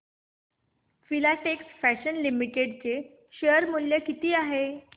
Filatex fashions limited चे share मूल्य किती आहे